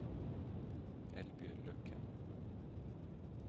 Eldbjørg Løkken